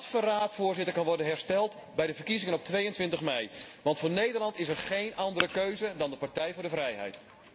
En dat verraad, Voorzitter, kan worden hersteld bij de verkiezingen op 22 mei, want voor Nederland is er geen andere keuze dan de Partij voor de Vrijheid.